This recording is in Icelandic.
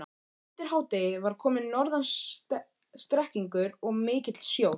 Undir hádegi var kominn norðan strekkingur og mikill sjór.